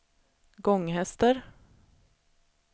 Gånghester